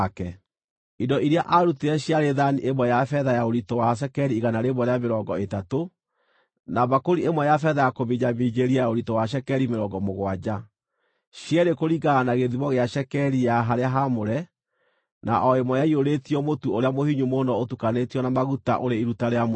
Indo iria aarutire ciarĩ thaani ĩmwe ya betha ya ũritũ wa cekeri igana rĩmwe rĩa mĩrongo ĩtatũ, na mbakũri ĩmwe ya kũminjaminjĩria ya betha ya ũritũ wa cekeri mĩrongo mũgwanja, cierĩ kũringana na gĩthimo gĩa cekeri ya harĩa haamũre, na o ĩmwe yaiyũrĩtio mũtu ũrĩa mũhinyu mũno ũtukanĩtio na maguta, ũrĩ iruta rĩa mũtu;